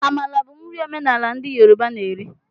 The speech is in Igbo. Amala bụ nri omenala ndị Yoruba na eri.